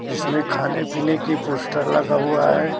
जिसमें खाने पीने की पोस्टर लगा हुआ है।